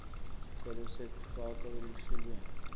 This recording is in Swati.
sicelo sekufakwa eluhlelweni